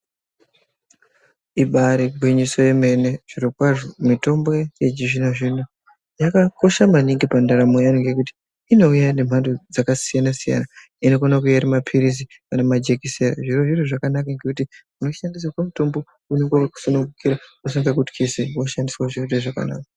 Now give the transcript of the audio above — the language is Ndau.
Ibari gwinyiso yemene zviro kwazvo mitombo yechizvino-zvino yakakosha maningi pandaramo yevantu. Ngekuti inouya nemhando dzakasiyana-siyana inokona kuuya iri maphirizi kana majekisera. Zvirozvo zviro zvakanaka ngekuti unoshandisira mutombo unongavakakusunungukira zvirozvo zvoshandiswa zvinoita zvakanaka.